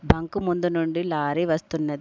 Bunk ముందు నుండి lorry వస్తున్నది.